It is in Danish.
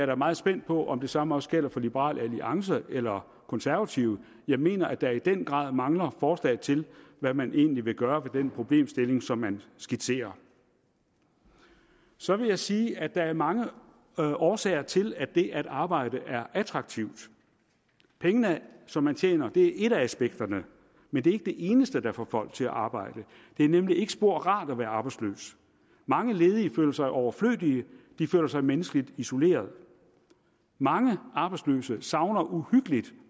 da meget spændt på om det samme også gælder for liberal alliance eller konservative jeg mener at der i den grad mangler forslag til hvad man egentlig vil gøre ved den problemstilling som man skitserer så vil jeg sige at der er mange årsager til at det at arbejde er attraktivt pengene som man tjener er et af aspekterne men det er ikke det eneste der får folk til at arbejde det er nemlig ikke spor rart at være arbejdsløs mange ledige føler sig overflødige og de føler sig menneskeligt isoleret mange arbejdsløse savner uhyggelig